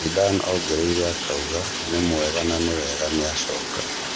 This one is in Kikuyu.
Zidane ongereire akauga "nĩ mwega na nĩ wega nĩacoka"